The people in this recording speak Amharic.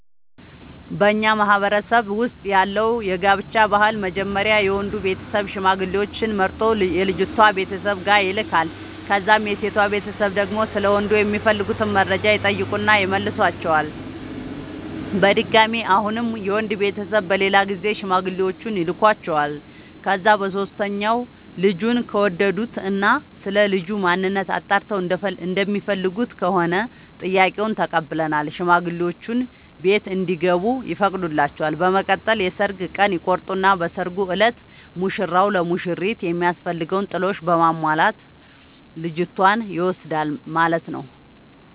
በኛ ማህበረሰብ ውስጥ ያለው የጋብቻ ባህል መጀመሪያ የወንዱ ቤተሰብ ሽማግሌዎች መርጦ የልጅቷ ቤተሰብ ጋር ይልካል። ከዛም የሴቷ ቤተሰብ ደግሞ ስለ ወንዱ የሚፈልጉትን መረጃ ይጠይቁና ይመልሷቸዋል። በድጋሚ አሁንም የወንድ ቤተሰብ በሌላ ጊዜ ሽማግሌዎቹን ይልኳቸዋል። ከዛ በሶስተኛው ልጁን ከወደዱት እና ስለልጁ ማንነት አጣርተው እንደሚፈልጉት ከሆነ ጥያቄውን ተቀብለው ሽማግሌዎቹ ቤት እንዲገቡ ይፈቅዱላቸዋል። በመቀጠል የሰርግ ቀን ይቆርጡና በሰርጉ እለት ሙሽራው ለሙሽሪት የሚያስፈልገውን ጥሎሽ በማሟላት ልጅቷን ይወስዳል ማለት ነው።